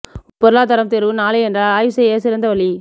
உங்கள் பொருளாதாரம் தேர்வு நாளை என்றால் ஆய்வு செய்ய சிறந்த வழி